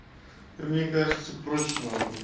мне кажется проще ахуй